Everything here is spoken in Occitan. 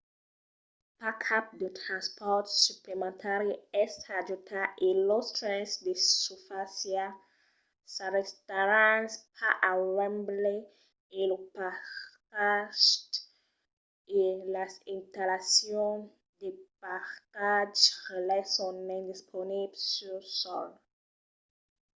pas cap de transpòrt suplementari es ajustat e los trens de susfàcia s'arrestaràn pas a wembley e lo parcatge e las installacions de parcatges relais son indisponibles sul sòl